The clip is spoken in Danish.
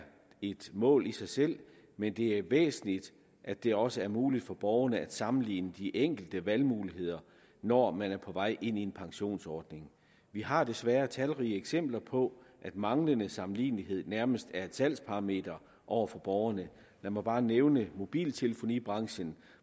et mål i sig selv men det er væsentligt at det også er muligt for borgerne at sammenligne de enkelte valgmuligheder når man er på vej ind i en pensionsordning vi har desværre talrige eksempler på at manglende sammenlignelighed nærmest er et salgsparameter over for borgerne lad mig bare nævne mobiltelefonibranchen